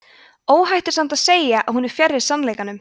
óhætt er samt að segja að hún er fjarri sannleikanum